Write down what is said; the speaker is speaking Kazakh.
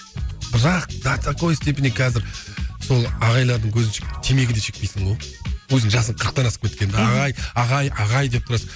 бірақ до такой степени қазір сол ағайлардың көзінші темекі де шекпейсің ғой өзің жасың қырықтан асып кеткен ағай ағай ағай деп тұрасың